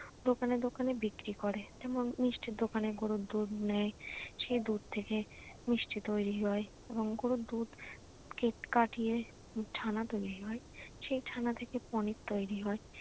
দোকানে দোকানে বিক্রি করে। এবং মিষ্টির দোকানে গরুর দুধ নেয়, সে দুধ থেকে মিষ্টি তৈরি হয় এবং গরুর দুধ কাটিয়ে ছানা তৈরি হয়। সে ছানা থেকে পনির তৈরি হয়।